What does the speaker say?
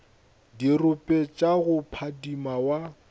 dirope tša go phadima wa